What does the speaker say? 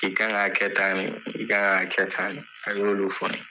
I kan ka kɛ tan ne , i kan ka kɛ tan ne a y'olu fɔ ne ye.